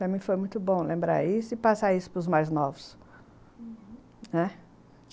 Também foi muito bom lembrar isso e passar isso para os mais novos, uhum.